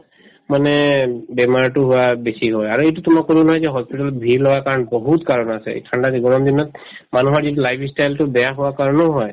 মানে বেমাৰটো হোৱা বেছি হয় আৰু সেইটোতো মই কলো নহয় যে hospital ত ভিৰ লগাৰ কাৰণ বহুত কাৰণ আছে এই ঠাণ্ডা যে গৰম দিনত মানুহৰ যিটো life ই style তো বেয়া হোৱাৰ কাৰণেও হয়